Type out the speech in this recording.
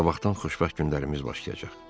Sabahdan xoşbəxt günlərimiz başlayacaq.